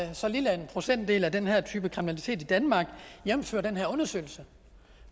er så lille en procentdel af den her type kriminalitet i danmark jævnfør den her undersøgelse